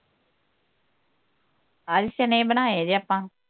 ਅੱਜ ਚਨੇ ਬਣਾਏ ਦੇ ਆਪਾਂ